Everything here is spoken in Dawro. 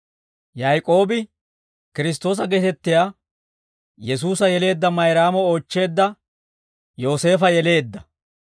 Yaak'oobi, Kiristtoosa geetettiyaa Yesuusa yeleedda Mayraamo oochcheedda Yooseefa yeleedda.